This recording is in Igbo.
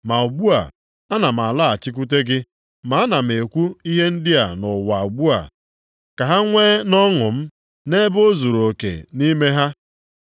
“Ma ugbu a, ana m alọghachikwute gị, ma ana m ekwu ihe ndị a nʼụwa ugbu a ka ha nwee nʼọṅụ m, nʼebe o zuruoke nʼime ha.